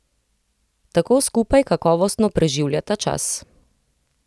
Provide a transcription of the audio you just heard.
Tako skupaj kakovostno preživljata čas.